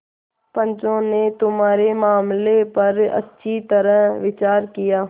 पंचों ने तुम्हारे मामले पर अच्छी तरह विचार किया